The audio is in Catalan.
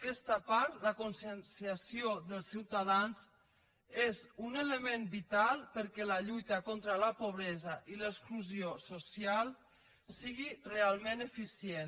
aquesta part la conscienciació dels ciutadans és un element vital perquè la lluita contra la pobresa i l’exclusió social sigui realment eficient